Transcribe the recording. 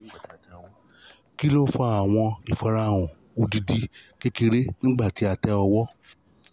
kini o fa ifarahan awọn awọn odidi kekere nigbati a tẹ ọwọ?